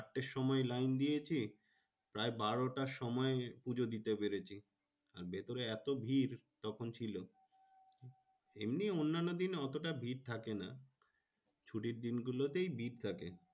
চারটের সময় লাইন দিয়েছি প্রায় বারোটার সময় পুজো দিতে পেরেছি। আর ভেতরে এত ভিড় তখন ছিল। এমনি অন্যান্য দিন অতটা ভিড় থাকে না। ছুটির দিন গুলোতেই ভিড় থাকে।